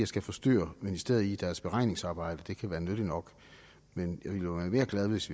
skal forstyrre ministeriet i deres beregningsarbejde det kan være nyttigt nok men jeg ville jo være mere glad hvis